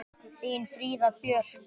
Þín Fríða Björk.